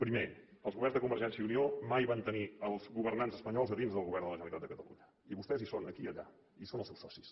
primer els governs de convergència i unió mai van tenir els governants espanyols a dins del govern de la generalitat de catalunya i vostès hi són aquí i allà i són els seus socis